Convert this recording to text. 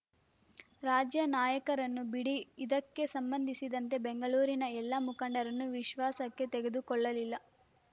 ರಾಜ್ಯ ನಾಯಕರನ್ನು ಬಿಡಿ ಇದಕ್ಕೆ ಸಂಬಂಧಿಸಿದಂತೆ ಬೆಂಗಳೂರಿನ ಎಲ್ಲ ಮುಖಂಡರನ್ನೂ ವಿಶ್ವಾಸಕ್ಕೆ ತೆಗೆದುಕೊಳ್ಳಲಿಲ್ಲ